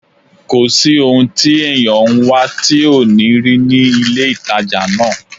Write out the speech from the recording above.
Kò sí ohun tí èèyàn ń wá tí ò ní rí ní ilé-ìtàjà náà